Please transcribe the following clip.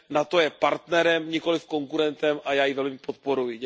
NATO je partnerem, nikoliv konkurentem a já ji velmi podporuji.